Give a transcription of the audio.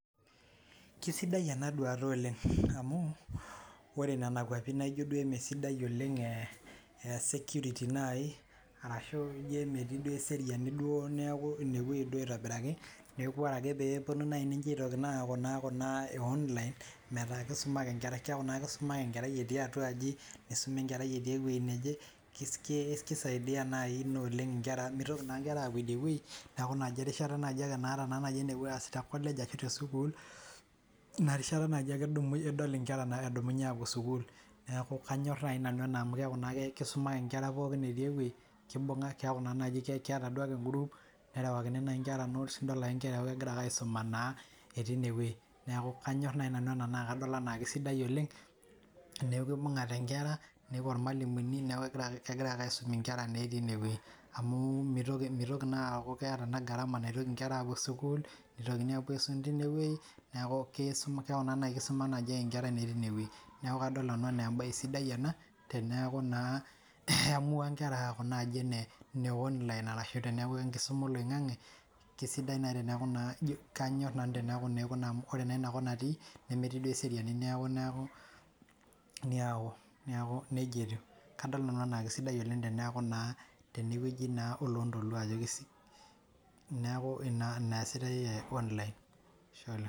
Kisidai ena duata oleng amu, ore Nena kuapi naaijo duo emesidai oleng ee security naaji arashu ijo emetii duo eseriani duo neeku ine wueji duo aitobiraki, neeku ore ake pee puonu ninche aaku naa Kuna e online metaa kisuma ake nkera kisuma ake enkerai etii atua, aji nisuma enkerai etii ewuei neje. kisaidia naaji Ina nkera amu mintoki naa nkera aapuo idie wueji. neeku naa naji erishata naaji napuo aas naa enepuo aas te college ashu te sukuul. ina erishata naaji ake idol nkera naa edumunye aapuo sukuul. neeku kaanyor naai nanu ena amu keeku kisuma ake nkera pookin etii ewuei. kibung'a keeku keeta ake e group nerewakini naaji nkera notes idol ake nkera egira aaku keisuma naa etii ine wueji neeku kaanyor naai nanu ena naa kadol anaa kisidai oleng, teneku Ibungate nkera nepuo irmalimuni neeku kegirae ake aisum nkera naa etii ine wueji amu, mintoki naa aku keeta iltunganak gharama naotoki nkera aapuo sukuul nitokini aapuo aisum teine wueji. neeku keeku naa kisuma naaji ake nkera naa etii ine wueji. neeku kadol nanu anaa embae sidai ena teneeku naa iamus nkera aaku ine online arashu teneeku tenkisuma oloingang'e, kisidai naaji teneeku naa . kaanyor nanu teneeku naa ore naa Ina kop natii nemetii duo eseriani ,neeku neeku, nejia etiu, kadol nanu anaa kisidai oleng , teneeku naa tene wueji olontoluo, neeku naa Ina eesitae online